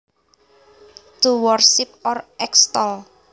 To worship or extol